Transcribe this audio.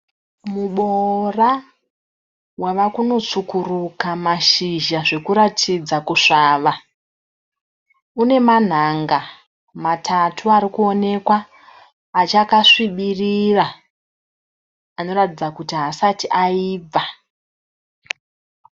Muboora wava kunotsvukuruka mashizha zvekuratidza kuswava une manhanga matatu arikuonekwa achakasvibirira anoratidza kuti haasati aibva.